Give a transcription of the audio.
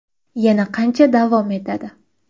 Yana qancha davom etadi?